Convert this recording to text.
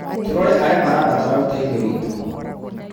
Tũrore arĩa marabatara ũteithio witũ.